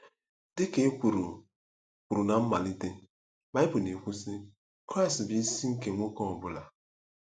Dị ka e kwuru kwuru ná mmalite, Bible na-ekwu, sị: “Kraịst bụ isi nke nwoke ọ bụla.”